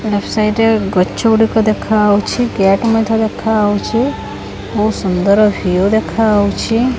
Left side ରେ ଗଛ ଗୁଡ଼ିକ ଦେଖା ହଉଛି। ଗେଟ ମଧ୍ୟ ଦେଖା ହଉଛି। ବହୁତ୍ ସୁନ୍ଦର ଭ୍ୟୁ ଦେଖା ହଉଛି।